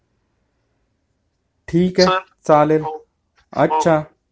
ठिके चल चालेल हो